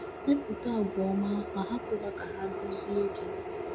Mepụta àgwà ọma, ma hapụ ha ka ha duzie gị.